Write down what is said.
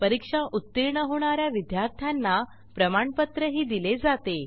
परीक्षा उत्तीर्ण होणा या विद्यार्थ्यांना प्रमाणपत्रही दिले जाते